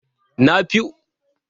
Nafiu likitan fiɗa ne a wannan asibitin.